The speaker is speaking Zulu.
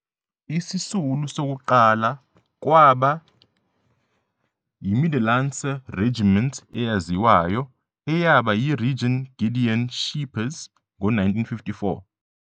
Isisulu sokuqala kwaba yiMiddellandse Regiment eyaziwayo, eyaba yiRegion Gideon Scheepers ngo-1954.